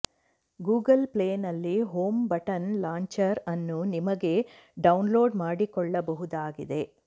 Google Play ನಲ್ಲಿ home button launcher ಅನ್ನು ನಿಮಗೆ ಡೌನ್ಲೋಡ್ ಮಾಡಿಕೊಳ್ಳಬಹುದಾಗಿದೆ